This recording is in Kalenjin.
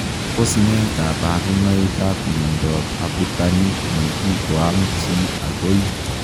Tos nee kabarunoik ap miondoop abutanik nekikoam chii agoi?